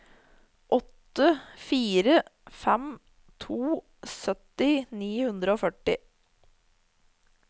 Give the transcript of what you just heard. åtte fire fem to sytti ni hundre og førti